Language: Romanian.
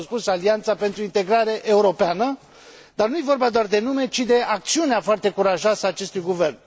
Și au spus Alianța pentru Integrare Europeană, dar nu e vorba doar de nume, ci de acțiunea foarte curajoasă a acestui guvern.